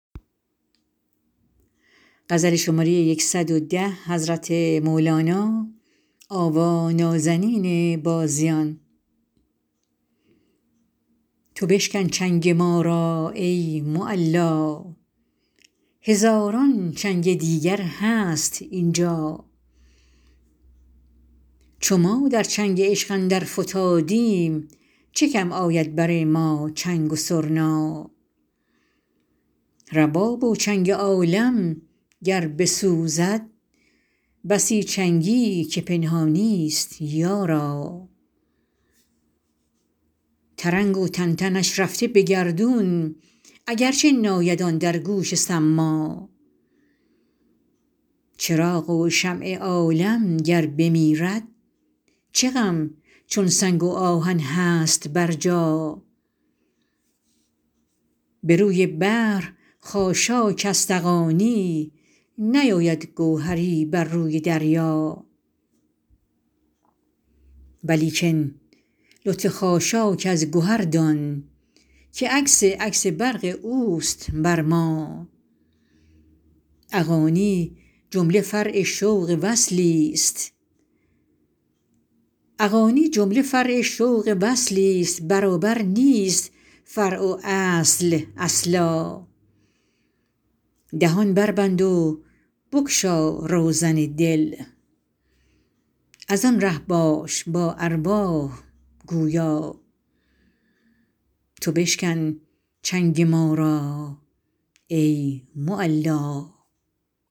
تو بشکن چنگ ما را ای معلا هزاران چنگ دیگر هست اینجا چو ما در چنگ عشق اندر فتادیم چه کم آید بر ما چنگ و سرنا رباب و چنگ عالم گر بسوزد بسی چنگی که پنهانیست یارا ترنگ و تنتنش رفته به گردون اگر چه ناید آن در گوش صما چراغ و شمع عالم گر بمیرد چه غم چون سنگ و آهن هست برجا به روی بحر خاشاک است اغانی نیاید گوهری بر روی دریا ولیکن لطف خاشاک از گهر دان که عکس عکس برق اوست بر ما اغانی جمله فرع شوق وصلی ست برابر نیست فرع و اصل اصلا دهان بربند و بگشا روزن دل از آن ره باش با ارواح گویا